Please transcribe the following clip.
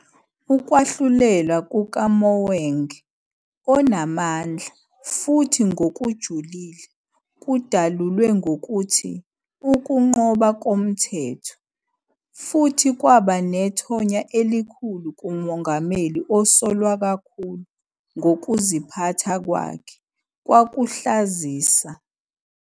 Ukwahlulelwa kukaMogoeng "onamandla" futhi "ngokujulile" kudalulwe ngokuthi "ukunqoba komthetho", futhi kwaba nethonya elikhulu kuMongameli osolwa kakhulu, ngokuziphatha kwakhe "kwakuhlazisa".